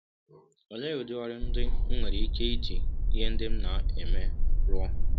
Ọlee ụdị ọrụ ndị m nwere ike iji ihe ndị m ma eme rụọ?